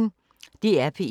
DR P1